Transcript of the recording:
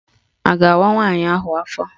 A ga-awa nwaanyị ahụ afọ?